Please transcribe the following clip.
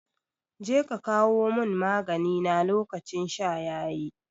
Jeka ka kawo mun magani na lokacin sha yayi